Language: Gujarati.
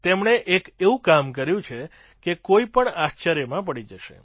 તેમણે એક એવું કામ કર્યું છે કે કોઈ પણ આશ્ચર્યમાં પડી જશે